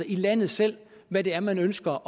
i landet selv hvad det er man ønsker